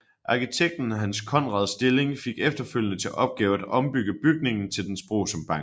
Arkitekten Hans Conrad Stilling fik efterfølgende til opgave at ombygge bygningen til dens brug som bank